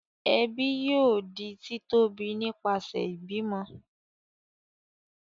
ẹbi yóò di ti tóbi nipasẹ ibimọ.